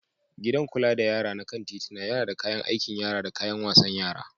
Gidan kula da yara na kan titina yana da kayan aikin yara da kayan wasan yara.